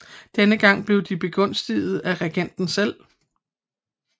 Denne gang blev de begunstiget af regenten selv